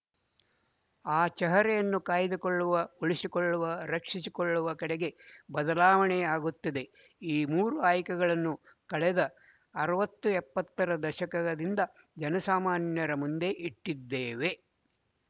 ಆ ಚಹರೆಯನ್ನು ಕಾಯ್ದುಕೊಳ್ಳುವ ಉಳಿಸಿಕೊಳ್ಳುವ ರಕ್ಶಿಸಿಕೊಳ್ಳುವ ಕಡೆಗೆ ಬದಲಾವಣೆ ಆಗುತ್ತಿದೆ ಈ ಮೂರು ಆಯ್ಕೆಗಳನ್ನು ಕಳೆದ ಅರವತ್ತು ಎಪ್ಪತ್ತರ ದಶಕದಿಂದ ಜನಸಾಮಾನ್ಯರ ಮುಂದೆ ಇಟ್ಟಿದ್ದೇವೆ